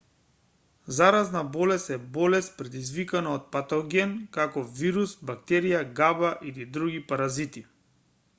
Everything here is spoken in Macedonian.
заразна болест е болест предизвикана од патоген како вирус бактерија габа или други паразити